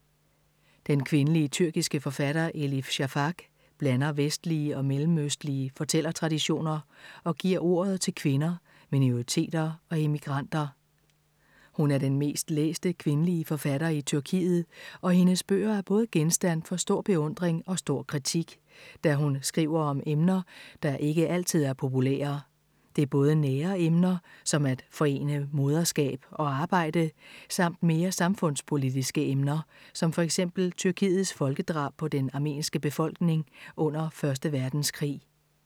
Den kvindelige tyrkiske forfatter Elif Shafak blander vestlige og mellemøstlige fortælletraditioner og giver ordet til kvinder, minoriteter og immigranter. Hun er den mest læste kvindelige forfatter i Tyrkiet og hendes bøger er både genstand for stor beundring og stor kritik, da hun skriver om emner, der ikke altid er populære. Det er både nære emner, som at forene moderskab og arbejde, samt mere samfundspolitiske emner, som for eksempel Tyrkiets folkedrab på den armenske befolkning under 1. verdenskrig.